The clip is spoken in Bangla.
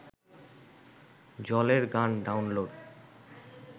জলের গান ডাউনলোড